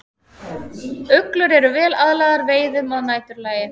Uglur eru vel aðlagaðar veiðum að næturlagi.